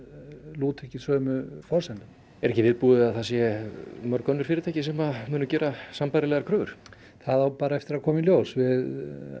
lúta ekki sömu forsendum er ekki viðbúið að það séu mörg önnur fyrirtæki sem muni gera sambærilegar kröfur það á bara eftir að koma í ljós við